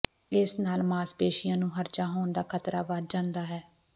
ਇਸ ਨਾਲ ਮਾਸਪੇਸ਼ੀਆਂ ਨੂੰ ਹਰਜਾ ਹੋਣ ਦਾ ਖ਼ਤਰਾ ਵਧ ਜਾਂਦਾ ਹੈ